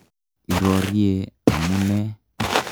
Irorye amu ne?